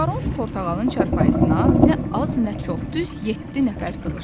Baron Portağalın çarpayısına nə az, nə çox, düz yeddi nəfər sığışdı.